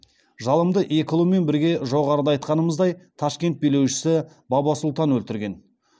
жалымды екі ұлымен бірге жоғарыда айтқанымыздай ташкент билеушісі баба сұлтан өлтірген